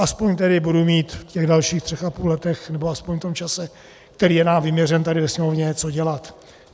Aspoň tedy budu mít v těch dalších tři a půl letech, nebo aspoň v tom čase, který je nám vyměřen tady ve Sněmovně, co dělat.